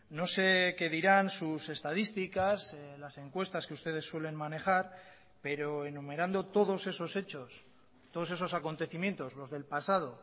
no sé qué dirán sus estadísticas las encuestas que ustedes suelen manejar pero enumerando todos esos hechos todos esos acontecimientos los del pasado